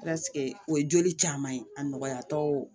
o ye joli caman ye a nɔgɔyatɔ